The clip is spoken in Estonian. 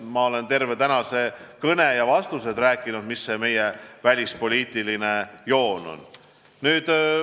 Ma olen terve tänase kõne ja vastuste ajal rääkinud, mis see meie välispoliitiline joon on.